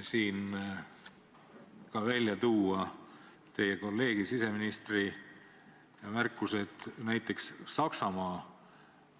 Tahtsin välja tuua teie kolleegi siseministri märkused näiteks Saksamaa